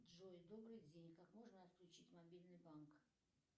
джой добрый день как можно отключить мобильный банк